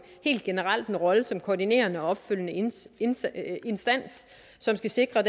helt generelt får en rolle som koordinerende og opfølgende instans der skal sikre